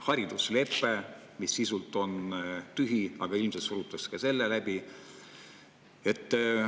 Hariduslepe, mis sisult on tühi, aga ilmselt surute ka selle läbi.